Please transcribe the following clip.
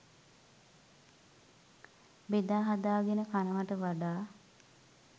බෙදාහදා ගෙන කනවට වඩා